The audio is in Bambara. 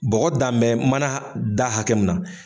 Bɔgɔ dan bɛ mana da hakɛ min na